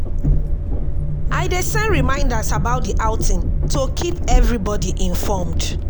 I dey send reminders about the outing to keep everybody informed.